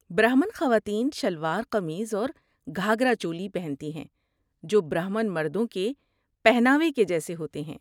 برہمن خواتین شلوار قمیض اور گھاگھرا چولی پہنتی ہیں، جو برہمن مردوں کے پہناوے کے جیسے ہوتے ہیں۔